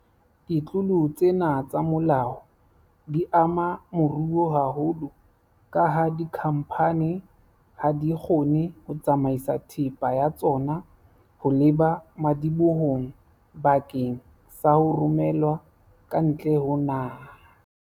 Ditlolo tsena tsa molao di ama moruo haholo kaha dikhamphani ha di kgone ho tsamaisa thepa ya tsona ho leba madibohong bakeng sa ho romelwa ka ntle ho naha.